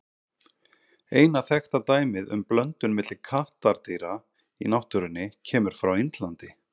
Eina þekkta dæmið um blöndun milli kattardýra í náttúrunni kemur frá Indlandi.